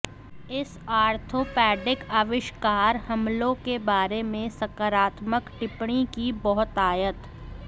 इस आर्थोपेडिक आविष्कार हमलों के बारे में सकारात्मक टिप्पणी की बहुतायत